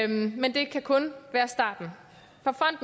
men det kan kun være starten